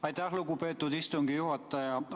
Aitäh, lugupeetud istungi juhataja!